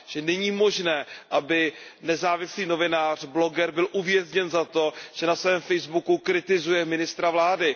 Že není možné, aby nezávislý novinář, bloger byl uvězněn za to, že na svém facebookovém profilu kritizuje ministra vlády.